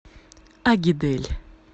агидель